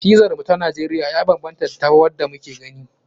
Pizar mu ta Najeriya ya banbanta da wanda muke gani.